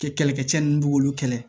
Kɛlɛkɛcɛ ninnu b'olu kɛlɛ